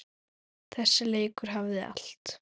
Þessi leikur hafði allt.